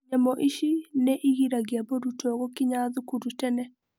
Nyamũ ici nĩ igiragia mũrutwo gũkinya thukuru tene.